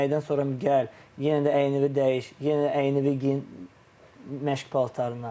Yeməkdən sonra gəl, yenə də əynivi dəyiş, yenə də əynivi geyin məşq paltarına.